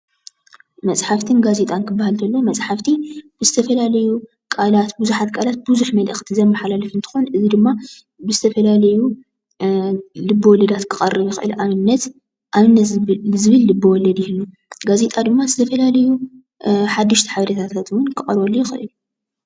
መፃሓፍትን ጋዜጣን እንትባሃል ኮሎ መፃሓፍቲ ብዝተፈላለዩ ቃላት ቡዛሓት ቃላት ብዝሕ መልእክት ዝመሓላልፉ እንትኾን እዚ ድማ ብዝተፈላለዩ ልቤ ወለዳት ክቀርብ ይኽእል። ንኣብነት ኣብነት ዝብል ልቢ ወልድ ይህሉ ጋዜጣ ድማ ዝተፈላለዩ ሓድሽቲ ሓበሬታት እውን ክቀርበሉ ይኽእል።